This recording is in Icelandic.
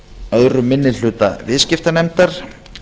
öðrum minni hluta viðskiptanefndar